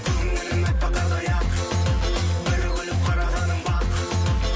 көңілім әппақ қардай ақ бір күліп қарағаның бақ